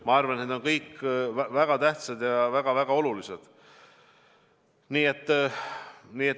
Ma arvan, et need kolm on kõik väga tähtsad ja väga-väga olulised.